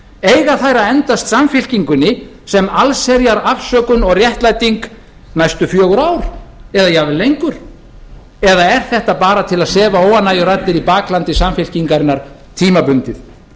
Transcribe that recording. eiga þær að endast samfylkingunni sem allherjar afsökun og réttlæting næstu fjögur ár eða jafnvel lengur eða er þetta bara til að sefa óánægjuraddir í baklandi samfylkingarinnar tímabundið